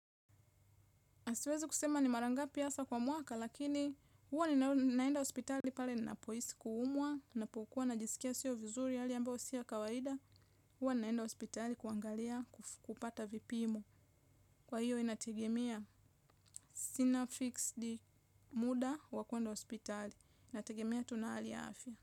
A siwezi kusema ni mara ngapi hasa kwa mwaka lakini huwa ni naenda hospitali pale ninapohisi kuumwa, napokuwa na jisikia sio vizuri hali ambayo si ya kawaida, huwa ni naenda hospitali kuangalia kupata vipimo. Kwa hiyo inategemea sina fix deal muda wa kuenda hospitali. Inategemea tu na hali ya afya.